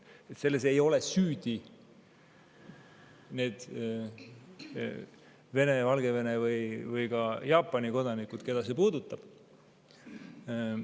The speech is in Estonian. Selles ei ole süüdi need Vene, Valgevene või näiteks ka Jaapani kodanikud, keda see puudutab.